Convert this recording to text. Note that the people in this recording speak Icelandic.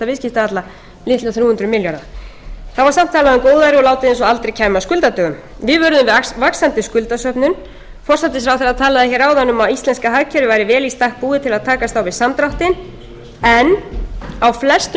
hundruð milljarða þá var samt talað um góðæri og látið eins og aldrei kæmi að skuldadögum við vöruðum við vaxandi skuldasöfnun forsætisráðherra talaði hér áðan um að íslenska hagkerfið væri vel í stakk búið til að takast á við samdráttinn en á